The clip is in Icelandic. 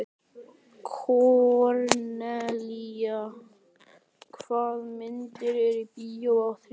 Kornelía, hvaða myndir eru í bíó á þriðjudaginn?